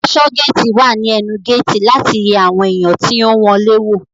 Aṣọgéétì wà ní ẹnu géétì láti yẹ àwọn èèyàn tí ó ń wọlé wò